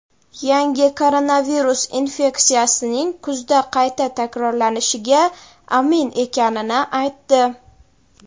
yangi koronavirus infeksiyasining kuzda qayta takrorlanishiga amin ekanini aytdi.